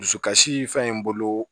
Dusukasi fɛn in bolo